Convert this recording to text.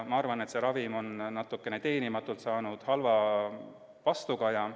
Ma arvan, et see ravim on natukene teenimatult saanud halba vastukaja.